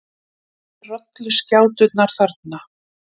Sjáið rolluskjáturnar þarna.